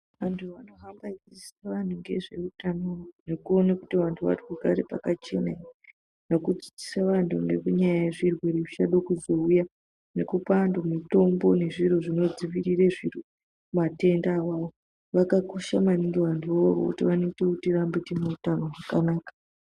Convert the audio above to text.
Antu vanohamba veidzidzisa antu ngezveutano nekuone kuti vantu vari kugare pakachena ere, nokudzidzisa vantu nenyaya yezvechirwere zvichado kuzouya, nekupa vantu mitombo nezviro zvinodziviriree matenda awawo, vakakosha maningi vantuvo ivovo nekuti vanoita kuti tirambee tinoutano hwakanaka.